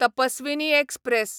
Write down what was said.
Tapaswini express